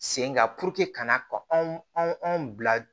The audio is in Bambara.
Sen kan ka na ka anw bila